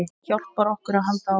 Hjálpar okkur að halda áfram.